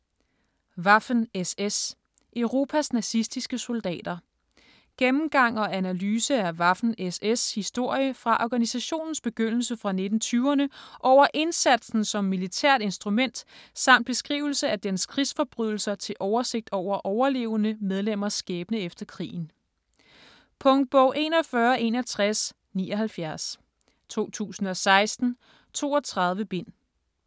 Waffen-SS: Europas nazistiske soldater Gennemgang og analyse af Waffen-SS' historie fra organisationens begyndelse fra 1920'erne over indsatsen som militært instrument samt beskrivelse af dens krigsforbrydelser til oversigt over overlevende medlemmers skæbne efter krigen. Punktbog 416179 2016. 32 bind.